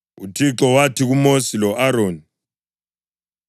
UThixo wathi kuMosi lo-Aroni,